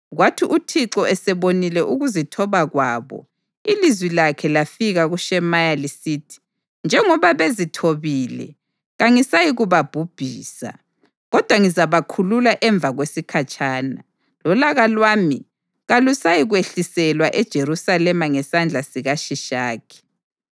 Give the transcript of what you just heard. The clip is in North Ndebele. Kwathi uThixo esebonile ukuzithoba kwabo ilizwi lakhe lafika kuShemaya lisithi: “Njengoba bezithobile, kangisayikubabhubhisa, kodwa ngizabakhulula emva kwesikhatshana, lolaka lwami kalusayikwehliselwa eJerusalema ngesandla sikaShishakhi.